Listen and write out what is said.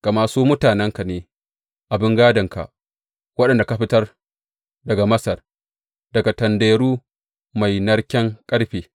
Gama su mutanenka ne, abin gādonka, waɗanda ka fitar daga Masar, daga tanderu mai narken ƙarfe.